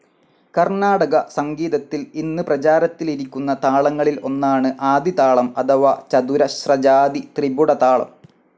കർണ്ണാടക സംഗീതത്തിൽ ഇന്ന് പ്രചാരത്തിലിരിക്കുന്ന താളങ്ങളിൽ ഒന്നാണ് ആദിതാളം അഥവാ ചതുരശ്രജാതി ത്രിപുടതാളം.